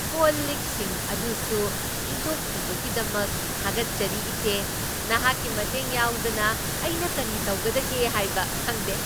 Call ꯂꯤꯛꯁꯤꯡ ꯑꯗꯨꯁꯨ ꯐꯦꯡꯗꯣꯛꯄꯤꯕꯒꯤꯗꯃꯛ ꯊꯥꯒꯠꯆꯔꯤ, ꯏꯆꯦ꯫ ꯅꯍꯥꯛꯀꯤ ꯃꯇꯦꯡ ꯌꯥꯎꯗꯅ ꯑꯩꯅ ꯀꯔꯤ ꯇꯧꯒꯗꯒꯦ ꯍꯥꯏꯕ ꯈꯪꯗꯦ꯫